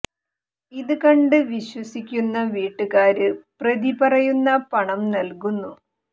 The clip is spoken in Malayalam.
ഇത് കണ്ട് വിശ്വസിക്കുന്ന വീട്ടുകാര് പ്രതി പറയുന്ന പണം നല്കുന്നു